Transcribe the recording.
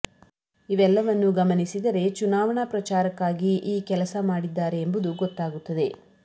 ಇವೆಲ್ಲವನ್ನು ಗಮನಿಸಿದರೆ ಚುನಾವಣಾ ಪ್ರಚಾರಕ್ಕಾಗಿ ಈ ಕೆಲಸ ಮಾಡಿದ್ದಾರೆ ಎಂಬುದು ಗೊತ್ತಾಗುತ್ತದೆ